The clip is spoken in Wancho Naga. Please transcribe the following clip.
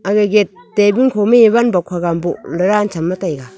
age gat tabul khoma e van bok haga am bohley ran chamley taiga.